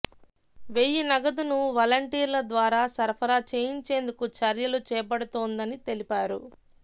వెయ్యి నగదును వలంటీర్ల ద్వారా సరఫరా చేయించేందుకు చర్యలు చేపడుతోందని తెలిపారు